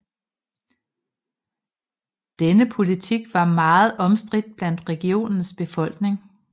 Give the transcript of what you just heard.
Denne politik var meget omstridt blandt regionens befolkning